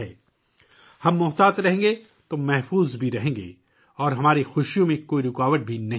اگر ہم احتیاط کریں گے تو ہم محفوظ بھی رہیں گے اور ہماری خوشیوں میں بھی کوئی رکاوٹ نہیں پڑے گی